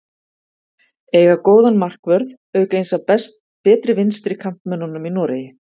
Eiga góðan markvörð auk eins af betri vinstri kantmönnunum í Noregi.